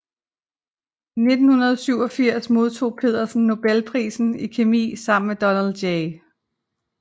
I 1987 modtog Pedersen nobelprisen i kemi sammen med Donald J